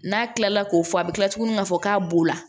N'a kilala k'o fɔ a bɛ kila tuguni k'a fɔ k'a b'o la